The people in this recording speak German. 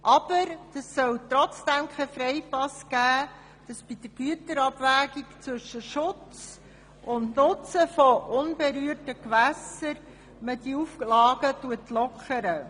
Aber das soll kein Freipass sein, die Auflagen bei der Güterabwägung zwischen Schutz und Nutzen von unberührten Gewässern zu lockern.